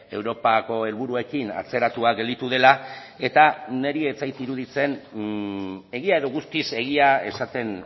europako helburuekin atzeratua gelditu dela eta niri ez zait iruditzen egia edo guztiz egia esaten